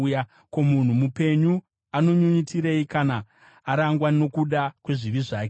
Ko, munhu mupenyu anonyunyutirei kana arangwa nokuda kwezvivi zvake?